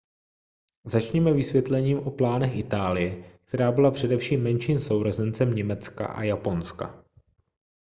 začněme vysvětlením o plánech itálie která byla především menším sourozencem německa a japonska